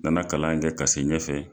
N na na kalan in kɛ k'a se ɲɛfɛ.